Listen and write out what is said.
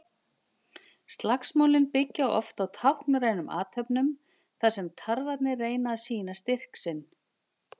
Slagsmálin byggja oft á táknrænum athöfnum þar sem tarfarnir reyna að sýna styrk sinn.